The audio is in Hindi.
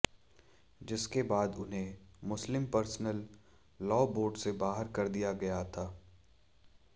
जिसके बाद उन्हें मुस्लिम पर्सनल लॉ बोर्ड से बाहर कर दिया गया था